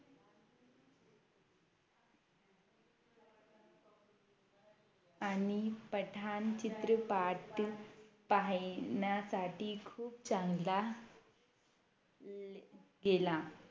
आणि पठाण चित्रपाट पहाण्यासाठी खूप चांगला गेला